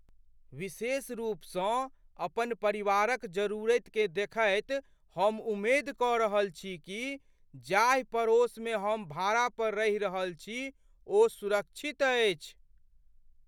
विशेषरूपसँ अपन परिवारक जरूरतिकेँ देखैत हम उम्मेद कऽ रहल छी कि जाहि पड़ोसमे हम भाड़ा पर रहि रहल छी ओ सुरक्षित अछि।